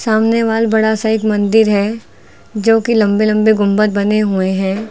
सामने वाल बड़ा सा एक मंदिर है जोकि लंबे लंबे गुंबद बने हुए हैं।